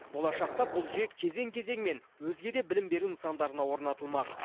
болашақта бұл жүйе кезең кезеңмен өзге де білім беру нысандарына орнатылмақ